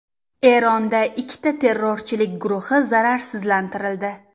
Eronda ikkita terrorchilik guruhi zararsizlantirildi.